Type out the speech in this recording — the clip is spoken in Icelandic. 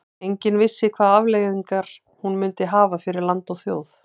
Enginn vissi hvaða afleiðingar hún myndi hafa fyrir land okkar og þjóð.